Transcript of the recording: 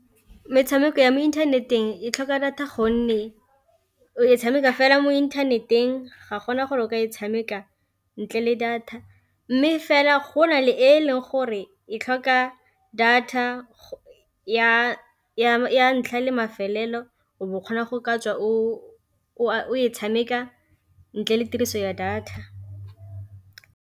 Metshameko ya mo inthaneteng e tlhoka data gonne o e tshameka fela mo inthaneteng ga gona gore o ka e tshameka ntle le data, mme fela go na le e leng gore e tlhoka data ya ntlha le mafelelo o bo o kgona go ka tswa o e tshameka ntle le tiriso ya data.